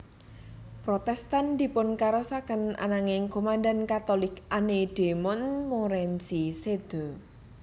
Protestan dipunkasoraken ananging komandan Katolik Anne de Montmorency séda